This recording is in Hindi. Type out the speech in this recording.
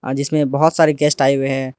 आज इसमें बहुत सारे गेस्ट आए हुए हैं।